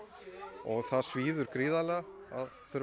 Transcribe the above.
og það svíður gríðarlega að þurfa að